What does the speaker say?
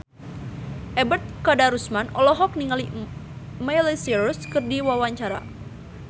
Ebet Kadarusman olohok ningali Miley Cyrus keur diwawancara